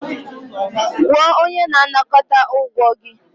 Kwụọ onye na-anakọta ụgwọ gị.